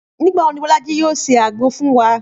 Nígbà wo ni Bọ́lájí yóò se àgbo fún wa?